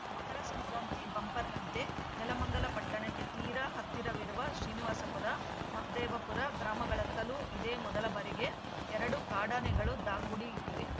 ಮಕರ ಸಂಕ್ರಾಂತಿ ಬಂಪರ್‌ನಂತೆ ನೆಲಮಂಗಲ ಪಟ್ಟಣಕ್ಕೆ ತೀರಾ ಹತ್ತಿರವಿರುವ ಶ್ರೀನಿವಾಸಪುರ ಮಹದೇವಪುರ ಗ್ರಾಮಗಳತ್ತಲೂ ಇದೇ ಮೊದಲ ಬಾರಿಗೆ ಎರಡು ಕಾಡಾನೆಗಳು ದಾಂಗುಡಿ ಇಟ್ಟಿವೆ